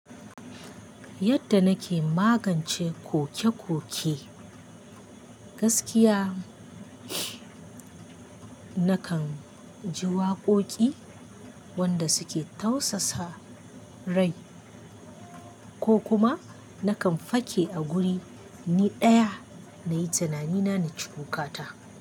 Yadda nake magance koke-koke, gaskiya nakan ji waƙoƙi wanda suke tausasa rai ko kuma nakan fake a guri ni ɗaya na yi tunani na na ci kukata.